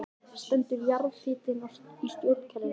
Stendur jarðhitinn í stjórnkerfinu